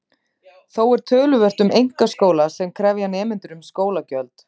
Þó er töluvert um einkaskóla sem krefja nemendur um skólagjöld.